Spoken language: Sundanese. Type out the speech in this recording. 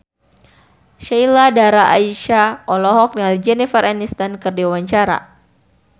Sheila Dara Aisha olohok ningali Jennifer Aniston keur diwawancara